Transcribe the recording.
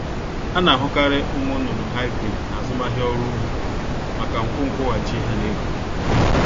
A na-ahukarị ụmụnnụnụ Hybrid n'azụmahịa ọrụ ugbo maka nkwu nkwụghachị ha n-eweta.